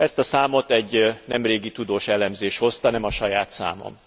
Ezt a számot egy nem régi tudós elemzés hozta, nem a saját számom.